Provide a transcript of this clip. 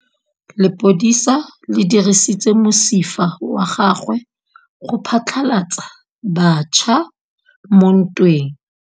Lepodisa le dirisitse mosifa wa gagwe go phatlalatsa batšha mo ntweng.